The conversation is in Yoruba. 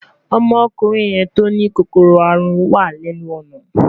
Ọmọkùnrin yẹn tó ní kòkòrò àrùn wà lẹ́nu ọ̀nà